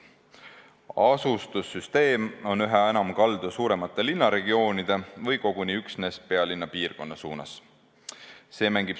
Asustussüsteem on üha enam kaldu suuremate linnaregioonide või koguni üksnes pealinna piirkonna suunas.